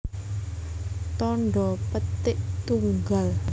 Tandha petik tunggal